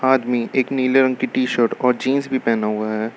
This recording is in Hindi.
आदमी एक नीले रंग की टी शर्ट और जींस भी पहना हुआ है।